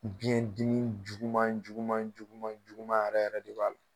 Biyɛndimi juguman juguman juguman juguman yɛrɛ yɛrɛ de b'a la.